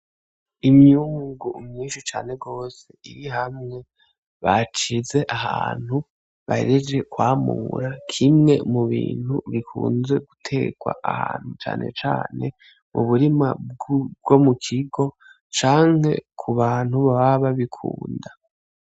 Imyungu myinshi cane gose iri hamwe bashize ahantu, bahejeje kwamura. Kimwe mu bintu bikunze guterwa ahantu; cane cane mu burima bwo mu kigo canke ku bantu baba babikunda.